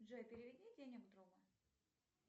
джой переведи денег другу